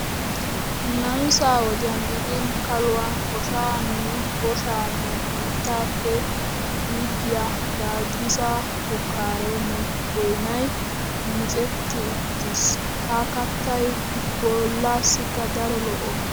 Namisa wodiyan gidin kaluwaan koshaa nne boshaa nu biittaappe iiggiya gaaddisa shukkaaree nne boynay micetti uttiis. Ha kattay bollaassikka daro lo'o.